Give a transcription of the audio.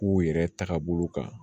K'u yɛrɛ tagabolo kan